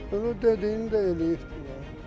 Onu dediyini də eləyibdi.